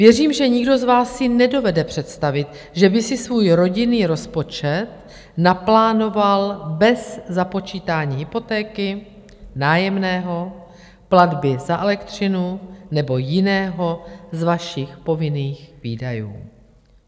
Věřím, že nikdo z vás si nedovede představit, že by si svůj rodinný rozpočet naplánoval bez započítání hypotéky, nájemného, platby za elektřinu nebo jiného z vašich povinných výdajů.